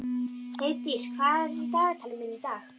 Heiðdís, hvað er í dagatalinu mínu í dag?